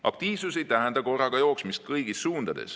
Aktiivsus ei tähenda jooksmist korraga kõigis suundades.